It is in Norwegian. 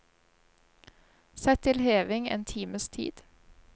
Sett til heving en times tid.